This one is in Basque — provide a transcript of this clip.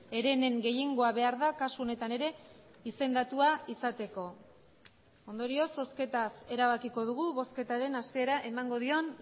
herenen gehiengoa behar da kasu honetan ere izendatua izateko ondorioz zozketaz erabakiko dugu bozketaren hasiera emango dion